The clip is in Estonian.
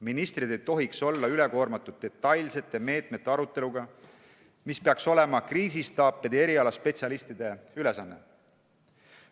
Ministrid ei tohiks olla üle koormatud detailsete meetmete aruteluga – see peaks olema kriisistaapide ja erialaspetsialistide ülesanne.